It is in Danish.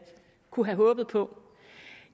håbet på